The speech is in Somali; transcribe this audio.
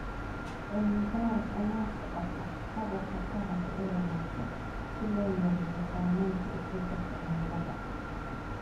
Cilmi baaris ayaa socota hababka taranka ee wanaagsan si loo yareeyo saameynta isbedelka cimilada.